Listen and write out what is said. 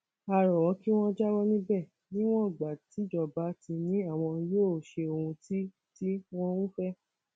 a rọ wọn kí wọn jáwọ níbẹ níwọn ìgbà tíjọba ti ní àwọn yóò ṣe ohun tí tí wọn ń fẹ